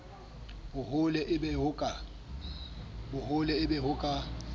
bohole e be ho ka